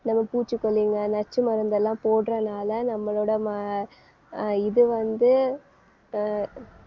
நம்ம பூச்சிக்கொல்லிங்க நச்சு மருந்தெல்லாம் போடுறனால நம்மளோட ம~ அஹ் இது வந்து அஹ்